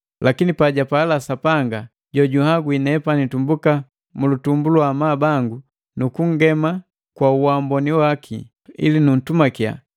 Lakini paja pala Sapanga, jojunhagwi nepani tumbuka mulutumbu lwa amabu bango nu kungema kwa waamboni waki ili nutumakiya,